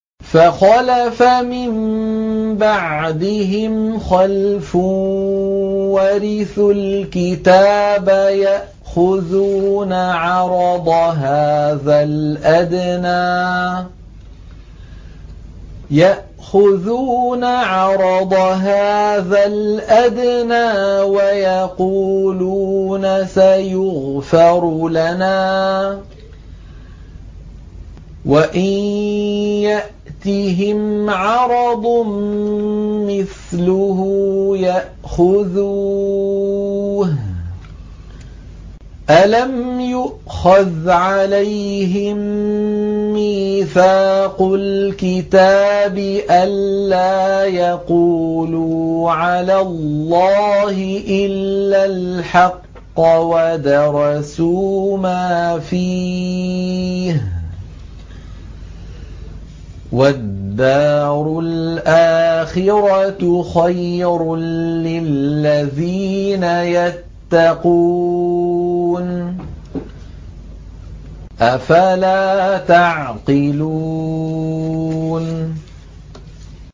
فَخَلَفَ مِن بَعْدِهِمْ خَلْفٌ وَرِثُوا الْكِتَابَ يَأْخُذُونَ عَرَضَ هَٰذَا الْأَدْنَىٰ وَيَقُولُونَ سَيُغْفَرُ لَنَا وَإِن يَأْتِهِمْ عَرَضٌ مِّثْلُهُ يَأْخُذُوهُ ۚ أَلَمْ يُؤْخَذْ عَلَيْهِم مِّيثَاقُ الْكِتَابِ أَن لَّا يَقُولُوا عَلَى اللَّهِ إِلَّا الْحَقَّ وَدَرَسُوا مَا فِيهِ ۗ وَالدَّارُ الْآخِرَةُ خَيْرٌ لِّلَّذِينَ يَتَّقُونَ ۗ أَفَلَا تَعْقِلُونَ